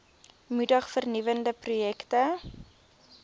moedig vernuwende projekte